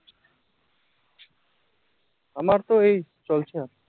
আমার তো এই চলছে